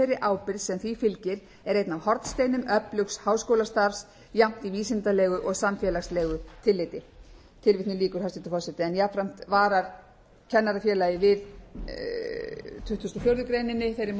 ábyrgð sem því fylgir er einn af hornsteinum öflugs háskólastarfs jafnt í vísindalegu og samfélagslegu tilliti jafnframt varar kennarafélagið við tuttugustu og fjórðu grein þeirri